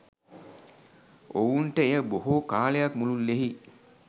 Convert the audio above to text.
ඔවුන්ට එය බොහෝ කාලයක් මුළුල්ලෙහි